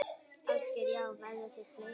Ásgeir: Já, verða þær fleiri?